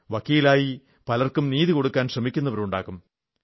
വക്കീലായി പലർക്കും നീതി നേടിക്കൊടുക്കാൻ ശ്രമിക്കുന്നവരാകും